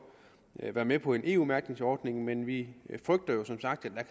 være med på en eu mærkningsordning men vi frygter jo som sagt at